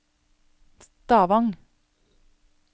Stavang